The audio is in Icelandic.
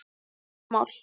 Stór mál.